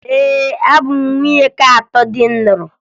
Ee, abụ m nwunye nke atọ di m lụrụ